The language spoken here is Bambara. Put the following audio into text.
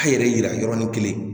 A' yɛrɛ yira yɔrɔnin kelen